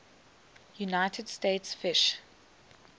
united states fish